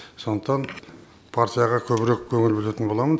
сондықтан партияға көбірек көңіл бөлетін боламын